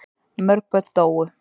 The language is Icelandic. Mörg börn dóu.